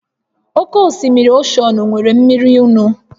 Oke osimiri oshọnụ nwere mmiri nnu